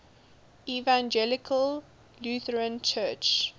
evangelical lutheran church